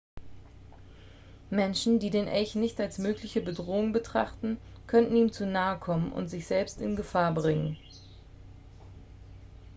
menschen die den elch nicht als mögliche bedrohung betrachten können ihm zu nahe kommen und sich selbst in gefahr bringen